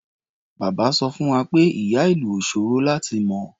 Bàbá sọ fún wa pé ìyá-ìlù ò ṣòro láti mọ.